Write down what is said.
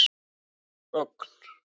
Ögn